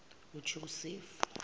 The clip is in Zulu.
ujosefu